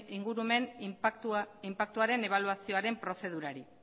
ingurumen inpaktuaren ebaluazioaren prozedurari